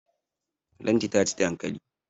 Lanti ta ci dankali.